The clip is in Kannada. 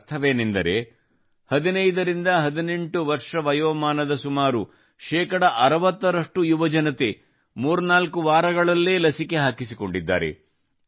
ಇದರರ್ಥವೇನೆಂದರೆ 15 ರಿಂದ 18 ವರ್ಷದ ವಯೋಮಾನದ ಸುಮಾರು 60 ರಷ್ಟು ಯುವಜನತೆ 34 ವಾರಗಳಲ್ಲೇ ಲಸಿಕೆ ಹಾಕಿಸಿಕೊಂಡಿದ್ದಾರೆ